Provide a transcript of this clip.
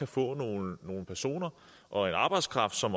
få nogle nogle personer og en arbejdskraft som